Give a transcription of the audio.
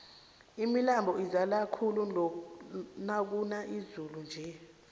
imilambo izala khulu nakuna izulu nje